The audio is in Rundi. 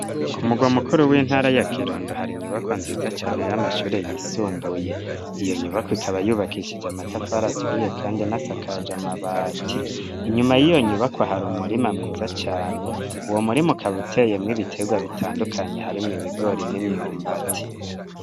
Ku murwa mukuru, w'intara ya Kirundo, hari inyubakwa nziza cane, y'amashure yisumbuye; iyo nyubakwa, ikaba yubakishije amatafari aturiye, kandi inasakaje amabati; inyuma y'iyo nyubakwa, hari umurima mwiza cane, uwo murima, ukaba uteyemwo ibiterwa bitandukanye, harimwo ibigori, n'imyumbati.